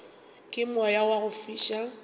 ke moya wa go fiša